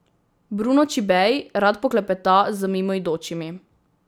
Bruno Čibej rad poklepeta z mimoidočimi.